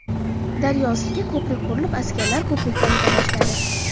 Daryo ustiga ko‘prik qurilib askarlar ko‘prikdan o‘ta boshladi.